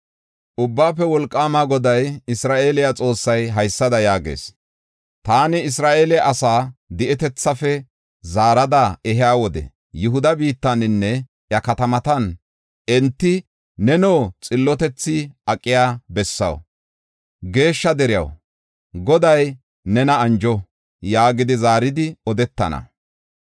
Ubbaafe Wolqaama Goday, Isra7eele Xoossay, haysada yaagees: “Taani Isra7eele asaa di7etethaafe zaarada ehiya wode Yihuda biittaninne iya katamatan enti, ‘Neno xillotethi aqiya bessaw, geeshsha deriyaw, Goday nena anjo’ yaagidi zaaridi odetana.